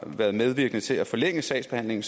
været medvirkende til at forlænge sagsbehandlingen